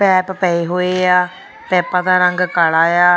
ਪੈਪ ਪਏ ਹੋਏ ਆ ਪੈਪਾ ਦਾ ਰੰਗ ਕਾਲਾ ਆ।